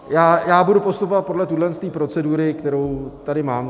Já budu postupovat podle téhle procedury, kterou tady mám.